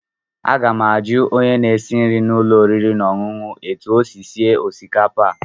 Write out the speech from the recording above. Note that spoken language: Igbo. Aga m ajụ onye na-esi nri n'ụlọ oriri na ọṅụṅụ a etu o sie osikapa a.